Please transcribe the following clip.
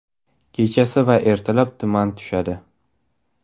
Kechasi va ertalab tuman tushadi.